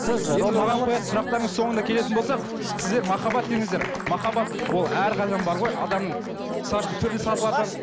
соңында келетін болсақ сіздер махаббат дедіңіздер махаббат ол әрқашан бар ғой адамның мысал үшін түрлі сатылар бар